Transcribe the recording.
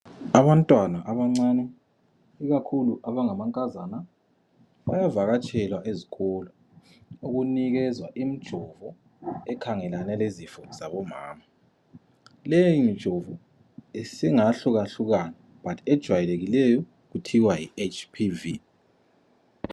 Abantwana abancane ikakhulu abangamankazana bayavakatshelwa ezikolo ukunikezwa imijovo ekhangelane lezifo zabomama. Leyi mijovo singahlukahlukana but ejayekileyo kuthiwa yi HPV.